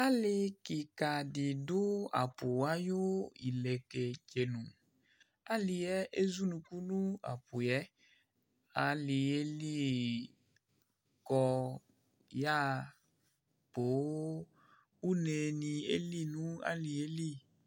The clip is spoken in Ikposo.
alɩ kika dɩ dʊ apʊ ayʊ ileketsenu, alɩ yɛ ezunuku nʊ apʊ yɛ, alɩ yɛ li kɔ yaɣa poo, unenɩ eli nʊxalɩ yɛ li